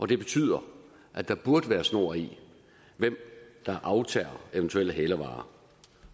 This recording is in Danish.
det betyder at der burde være snor i hvem der aftager eventuelle hælervarer